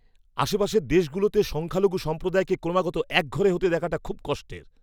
আশেপাশের দেশগুলোতে সংখ্যালঘু সম্প্রদায়কে ক্রমাগত একঘরে হতে দেখাটা খুব কষ্টের।